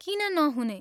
किन नहुने?